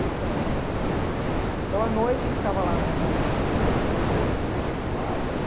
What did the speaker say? Então nossa. Então, à noite, a gente ficava lá na frente da igreja ou do lado.